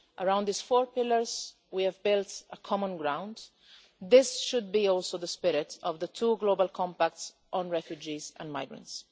Around these four pillars we have built a common ground. This should be also the spirit of the two Global Compacts on Refugees and Migrants.